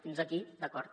fins aquí d’acord